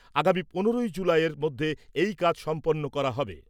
আগামী পনেরোই জুলাইয়ের মধ্যে এই কাজ সম্পন্ন করা হবে।